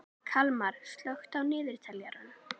Kalmar, slökktu á niðurteljaranum.